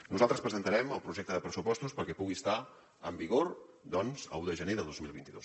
nosaltres presentarem el projecte de pressupostos perquè pugui estar en vigor doncs l’un de gener de dos mil vint dos